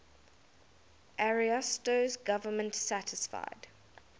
ariosto's government satisfied